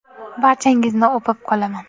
Barchangizni o‘pib qolaman.